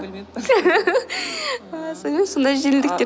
білмеппін ааа сонымен сондай жеңілдіктер